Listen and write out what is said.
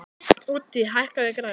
Úddi, hækkaðu í græjunum.